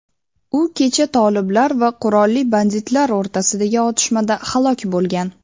u kecha toliblar va qurolli banditlar o‘rtasidagi otishmada halok bo‘lgan.